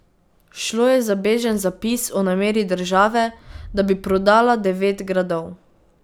Šlo je za bežen zapis o nameri države, da bi prodala devet gradov.